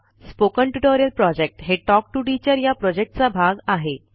spoken tutorial project हे talk to teacher या प्रॉजेक्टचा भाग आहे